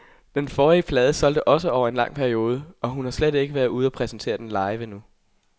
Den forrige plade solgte også over en lang periode, og hun har slet ikke været ude og præsentere den live endnu.